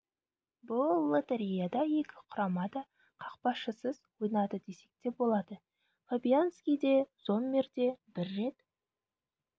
бұл лотереяда екі құрама да қақпашысыз ойнады десек те болады фабианьски де зоммер де бір рет